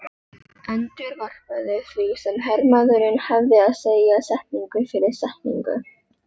Endurvarpaði því sem hermaðurinn hafði að segja, setningu fyrir setningu